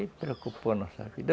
E preocupou nossa vida.